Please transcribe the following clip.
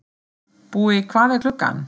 Búi, hvað er klukkan?